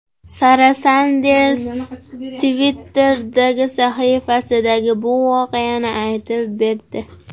Sara Sanders Twitter’dagi sahifasida bu voqeani aytib berdi.